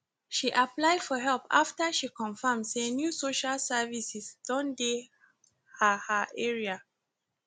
she apply for help after she confirmn say new social services don dey her her area